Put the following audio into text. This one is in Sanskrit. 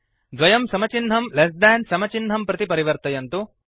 द्वयं समचिह्नं लेस् देन् समचिह्नं प्रति परिवर्तयन्तु